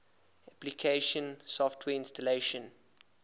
application software installation